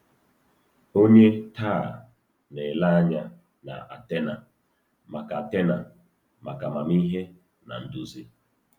Ònye taa na-ele anya na Athena maka Athena maka amamihe na nduzi?